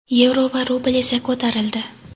yevro va rubl esa ko‘tarildi.